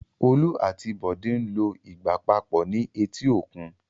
Olú àti Bọ́lá ń lo ìgbà papọ̀ ní etí òkun.